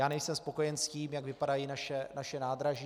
Já nejsem spokojen s tím, jak vypadají naše nádraží.